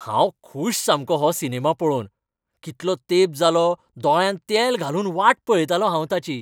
हांव खूश सामकों हो सिनेमा पळोवन! कितलो तेंप जालो दोळ्यांत तेल घालून वाट पळयतालों हांव ताची.